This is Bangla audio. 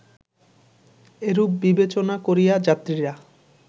এরূপ বিবেচনা করিয়া যাত্রীরা